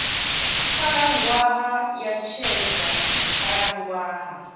khalaṅwaha ya tshedza hu khalaṅwaha